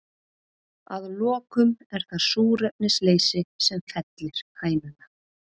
Að lokum er það súrefnisleysi sem fellir hænuna.